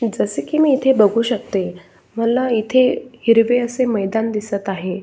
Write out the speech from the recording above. जसे की मी इथे बघू शकते मला इथे हिरवे असे मैदान दिसत आहे.